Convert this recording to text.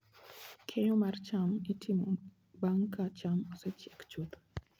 Keyo mar cham itimo bang' ka cham osechiek chuth.